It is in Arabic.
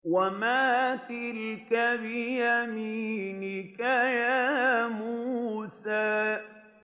وَمَا تِلْكَ بِيَمِينِكَ يَا مُوسَىٰ